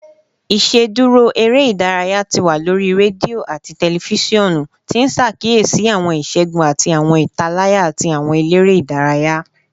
Iṣeduro ere-idaraya ti wa lori redio ati tẹlifisiọnu, ti n ṣakiyesi awọn iṣẹgun ati awọn italaya ti awọn elere idaraya